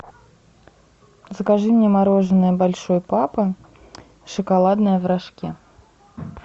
закажи мне мороженое большой папа шоколадное в рожке